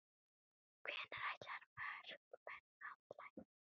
Hvenær ætla markmenn að læra?